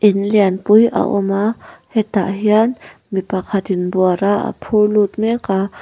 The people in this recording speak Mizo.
in lian pui a awm a hetah hian mi pakhatin buara a phur lut mek a.